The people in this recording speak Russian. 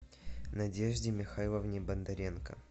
надежде михайловне бондаренко